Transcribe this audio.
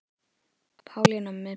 Pálína með prikið